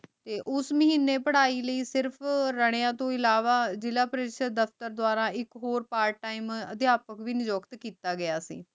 ਤੇ ਓਸ ਮਾਹਿਨੀ ਪਢ਼ਾਈ ਲੈ ਸਿਰਫ ਰੰਯਾਂ ਤਨ ਇਲਾਵਾ ਜ਼ਿਲਾ ਦਫਤਰ ਦਾਰਾ ਏਇਕ ਹੋਰ part time ਅਧ੍ਯਾਪਕ ਵੀ ਮੁਕਰਰ ਕੀਤਾ ਗਯਾ ਸੀ